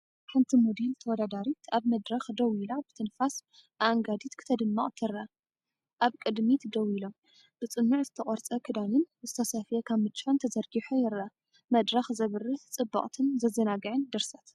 ሓንቲ ሞዴል ተወዳዳሪት ኣብ መድረኽ ደው ኢላ ብትንፋስ ኣአንጋዲት ክትደምቕ ትረአ። ኣብ ቅድሚት ደው ኢሎም፡ ብጽኑዕ ዝተቖርጸ ክዳንን ዝተሰፍየ ካምቻን ተዘርጊሑ ይረአ። መድረኽ ዘብርህ ጽብቕትን ዘዘናግዕን ድርሰት!